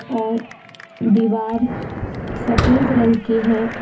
और दीवार सफेद रंग की है।